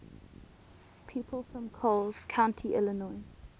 people from coles county illinois